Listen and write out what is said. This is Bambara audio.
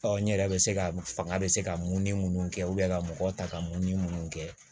n yɛrɛ bɛ se ka fanga bɛ se ka mun ni mun kɛ ka mɔgɔ ta ka mun ni mun kɛ